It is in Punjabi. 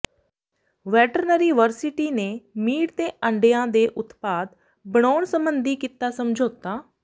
ਵੈਟਰਨਰੀ ਵਰਸਿਟੀ ਨੇ ਮੀਟ ਤੇ ਆਂਡਿਆਂ ਦੇ ਉਤਪਾਦ ਬਣਾਉਣ ਸਬੰਧੀ ਕੀਤਾ ਸਮਝੌਤਾ